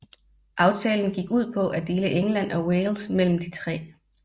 Aftalen gik ud på at dele England og Wales mellem de tre